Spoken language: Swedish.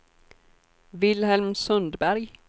Wilhelm Sundberg